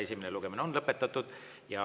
Esimene lugemine on lõpetatud.